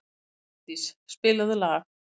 Mjalldís, spilaðu lag.